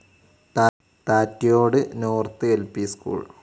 താറ്റ്യോട് north ൽ P school